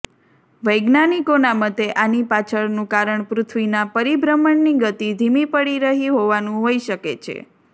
વૈજ્ઞાનિકોના મતે આની પાછળનું કારણ પૃથ્વીના પરિભ્રમણની ગતિ ધીમી પડી રહી હોવાનું હોઈ શકે છે